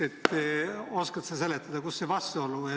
Oskad sa seda vastuolu seletada?